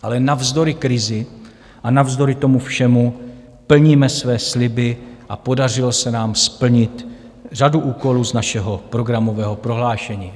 Ale navzdory krizi a navzdory tomu všemu plníme své sliby a podařilo se nám splnit řadu úkolů z našeho programového prohlášení.